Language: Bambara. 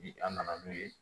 Ni an nana n'o ye